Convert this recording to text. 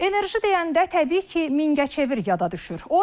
Enerji deyəndə təbii ki, Mingəçevir yada düşür.